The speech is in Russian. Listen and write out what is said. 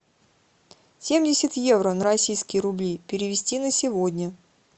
семьдесят евро на российские рубли перевести на сегодня